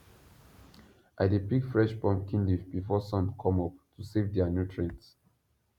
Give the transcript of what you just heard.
i dey pick fresh pumpkin leaf before sun come up to save their nutrients